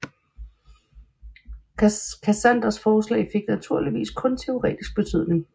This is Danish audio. Cassanders forslag fik naturligvis kun teoretisk betydning